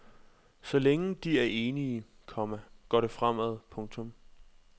Så længe de er enige, komma går det fremad. punktum